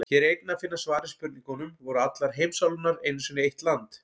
Hér er einnig að finna svar við spurningunum: Voru allar heimsálfurnar einu sinni eitt land?